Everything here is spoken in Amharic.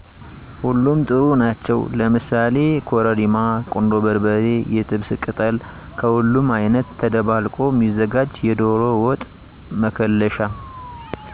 ሁሉም ጥሩ ናቸዉ ለምሳሌ ኮረሪማ፣ ቁንዶ በርበሬ፣ የጥብስ ቅጠል፣ ከሁሉም አይነት ተደባልቆ ሚዘጋጅ የዶሮ ወጥ መከለሻ